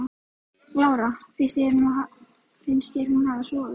Lára: Finnst þér hún hafa sofið?